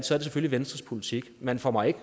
selvfølgelig venstres politik man får mig ikke